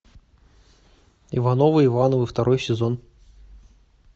ивановы ивановы второй сезон